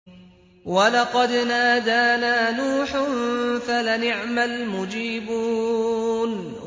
وَلَقَدْ نَادَانَا نُوحٌ فَلَنِعْمَ الْمُجِيبُونَ